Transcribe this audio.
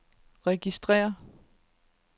registrér